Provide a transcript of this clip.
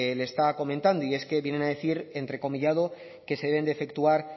le estaba comentando y es que vienen a decir entrecomillado que se debe de efectuar